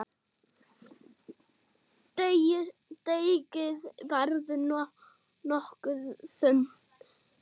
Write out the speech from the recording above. Deigið verður nokkuð þunnt.